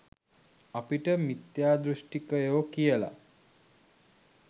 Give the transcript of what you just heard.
අපිට මිත්‍යා දෘෂ්ටිකයෝ කියල